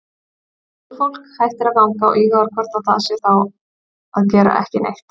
Göngufólk hættir að ganga og íhugar hvort það sé þá að gera ekki neitt.